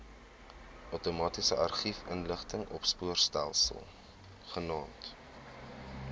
outomatiese argiefinligtingsopspoorstelsel genaamd